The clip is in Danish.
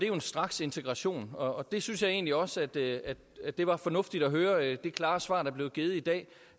jo en straksintegration og jeg synes egentlig også at det at det var fornuftigt at høre det klare svar der blev givet i dag